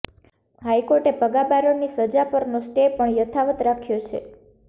હાઈકોર્ટે ભગા બારડની સજા પરનો સ્ટે પણ યથાવત રાખ્યો છે